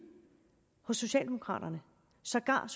hos socialdemokraterne sågar